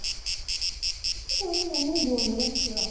কি কৰিম এনে বহি আছো ৰʼ